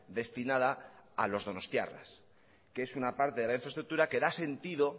destinada a los donostiarras que es una parte de la infraestructura que da sentido